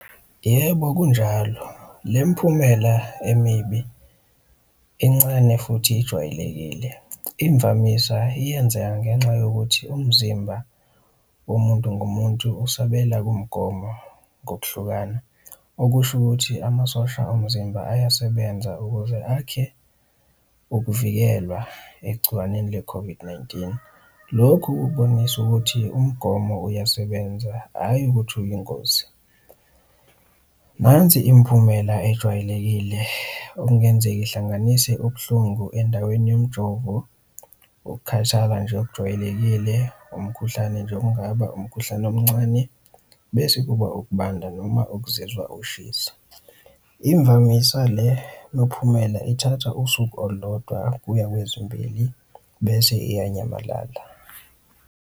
Yebo, kunjalo, le miphumela emibi incane futhi ijwayelekile. Imvamisa iyenzeka ngenxa yokuthi umzimba womuntu ngumuntu usabela kumgomo ngokuhlukana, okusho ukuthi amasosha omzimba ayasebenza ukuze akhe ukuvikelwa egciwaneni le-COVID-19. Lokhu kubonisa ukuthi umgomo uyasebenza, hhayi ukuthi uyingozi. Nansi imiphumela ejwayelekile, okungenzeka ihlanganise ubuhlungu endaweni yomjovo, ukukhathala nje okujwayelekile, umkhuhlane nje okungaba umkhuhlane omncane, bese kuba ukubanda noma ukuzizwa ushisa. Imvamisa le miphumela ithatha usuku olulodwa kuya kwezimbili bese iyanyamalala.